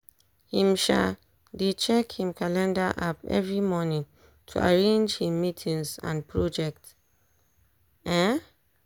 him um dey check him calender app every morning to arrange him meetings and project. um